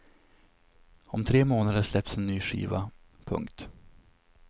Om tre månader släpps en ny skiva. punkt